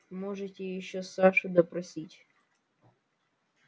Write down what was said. можете ещё сашу допросить